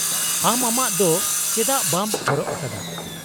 -ᱟᱢ ᱟᱢᱟᱜ ᱫᱚ ᱪᱮᱫᱟᱜ ᱵᱟᱢ ᱦᱚᱨᱚᱜ ᱟᱠᱟᱫᱟ ?